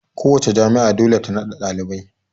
Kowace jami'a dole ta na da ɗalibai